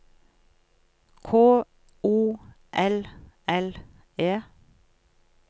K O L L E